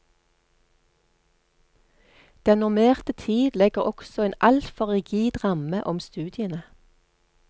Den normerte tid legger også en altfor rigid ramme om studiene.